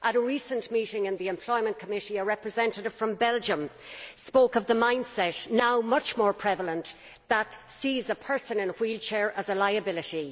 At a recent meeting in the Committee on Employment, a representative from Belgium spoke of the mindset, now much more prevalent, that sees a person in a wheelchair as a liability.